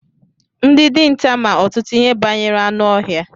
Ndị dinta ma ọtụtụ ihe banyere anụ ọhịa.